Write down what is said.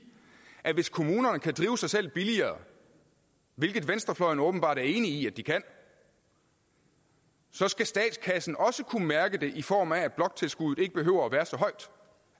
at hvis kommunerne kan drive sig selv billigere hvilket venstrefløjen åbenbart er enig i de kan så skal statskassen også kunne mærke det i form af at bloktilskuddet ikke behøver